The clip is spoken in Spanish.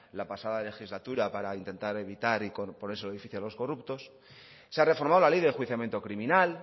la pasada legislatura para intentar evitar y ponérselo difícil a los corruptos se ha reformado la ley de enjuiciamiento criminal